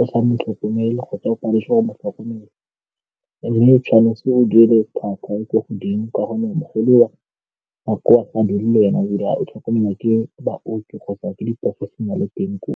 o sa mo tlhokomela kgotsa o paletswe go mo tlhokomela mme o tshwanetse o duele tlhwatlhwa e ko godimo ka gonne mogolo nako wa sa dirile yona ebile ga o tlhokomelwa ke baoki kgotsa ke di-professional-e teng koo.